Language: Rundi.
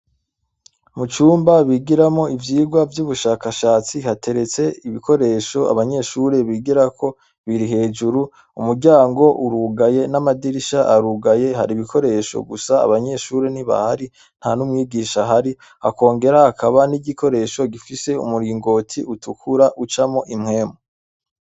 Mu cumba bigiramwo ivyirwa vy’ubushakashatsi hateretse ibikoresho abanyeshure bigirako biri hejuru umuryango urugaye n’amadirisha arugaye hari ibikoresho gusa abanyeshure ntibahari ntanumwigisha ahari hakongera hakaba n’igikoresho gifise umuringoti utukura ucamwo impemu.